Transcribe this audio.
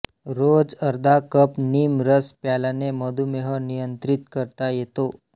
रोज अर्धा कप नीम रस प्यायल्याने मधुमेह नियंत्रित करता येतो